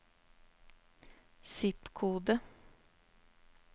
zip-kode